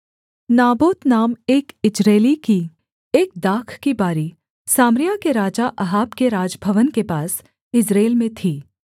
Naboth नाम एक यिज्रेली की एक दाख की बारी सामरिया के राजा अहाब के राजभवन के पास यिज्रेल में थी